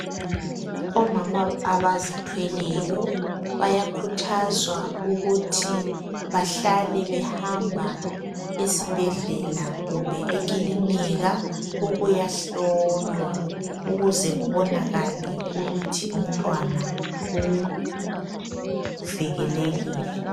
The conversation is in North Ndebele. Omama abazithwelayo bayakhuthazwa ukuthi bahlale behamba esibhedlela kumbe ekilinika ukuyahlolwa ukuze kubonakale ukuthi umntwana uvikelekile.